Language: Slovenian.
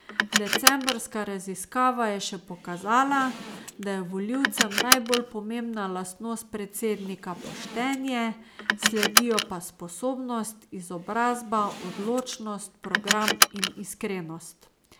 Decembrska raziskava je še pokazala, da je volivcem najbolj pomembna lastnost predsednika poštenje, sledijo pa sposobnost, izobrazba, odločnost, program in iskrenost.